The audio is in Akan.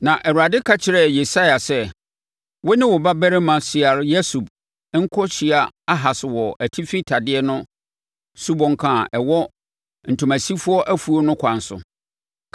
Na Awurade ka kyerɛɛ Yesaia sɛ, “Wo ne wo babarima Sear-Yasub nkɔhyia Ahas wɔ Atifi Tadeɛ no subɔnka a ɛwɔ Ntomasifoɔ Afuo no kwan so.